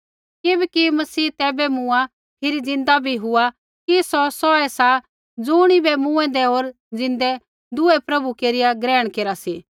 किबैकि मसीह तैबै मूँआ होर फिरी ज़िन्दा बी हुआ कि सौ सौहै सा ज़ुणिबै मूँएंदै होर ज़िन्दै दुऐ प्रभु केरिया ग्रहण केरा सा